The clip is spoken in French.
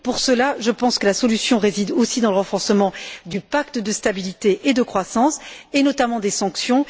Pour cela, je pense que la solution réside aussi dans le renforcement du pacte de stabilité et de croissance et, notamment, des sanctions.